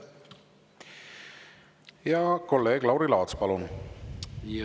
Kolleeg Lauri Laats, palun!